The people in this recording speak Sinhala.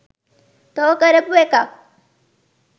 තෝ කරපු එකක්